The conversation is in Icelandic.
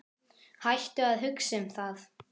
Hættu að hugsa um það.